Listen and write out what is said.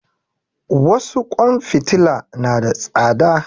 Wasu ƙwan fitila na da tsada